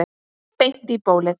Beint í bólið.